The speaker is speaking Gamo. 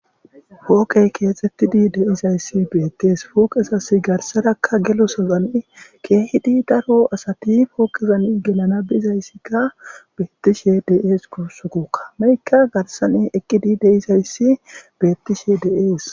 Ogey keexettidi de7izayssi beettees pooqesas garsadakka gelo sozani keehidi daro asati pooqezan gelana bizayssikka beettishe de7ees kussukoka meykka garsani eqqidi deizayssi beettishe de7ees.